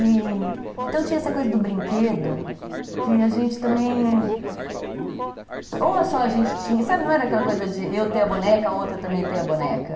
Então tinha essa coisa do brinquedo, que a gente também... Ou só a gente tinha... Sabe, não era aquela coisa de eu ter a boneca, a outra também ter a boneca.